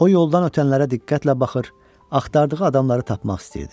O yoldan ötənlərə diqqətlə baxır, axtardığı adamları tapmaq istəyirdi.